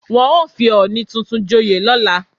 Wọ́n ó fi ọọ̀ni tuntun joyè lọ́la